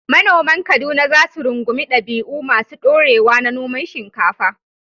Manoman Kaduna za su rungumi dabi’u masu ɗorewa na noman shinkafa.